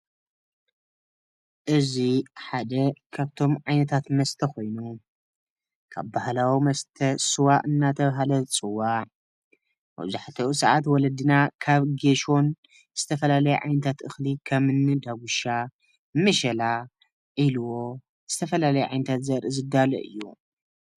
እዚ ሓደ ካብቶም ዓይነታት መስተ ኾይኑ ካብ ባሃላዊ መስተ ስዋ እናተባህለ ዝፅዋዕ መብዛሕትኡ ሳዓት ወለድና ካብ ጎሾን ዝተፈላለዩ ዓይነታት እኽሊ ከምኒ ዳጉሻ ፣መሸላ ፣ዒልቦ ዝተፈለለዩ ዓይነታት ዘርኢ ዝዳሎ እዩ።